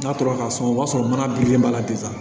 N'a tora ka sɔn o b'a sɔrɔ mana bilen b'a la bilen